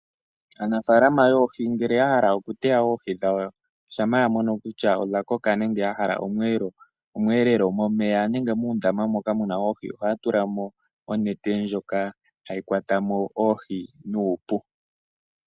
Aanafalama yoohi ngele yahala oku teya oohi dhawo shampa ya mono kutya odha koka nenge yahala omwelelelo, momeya nenge muundamba moka muna oohi ohaya tula mo oonete ndjoka hayi kwata mo oohi nuupu.